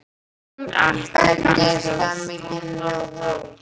Hann ætti kannski að skjóta oftar?